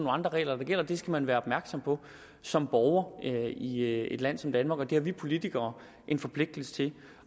andre regler der gælder og det skal man være opmærksom på som borger i et land som danmark og det har vi politikere en forpligtelse til